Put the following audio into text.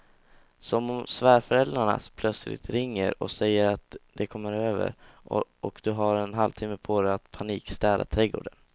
Som om svärföräldrarna plötsligt ringer och säger att de kommer över och du har en halvtimme på dig att panikstäda trädgården.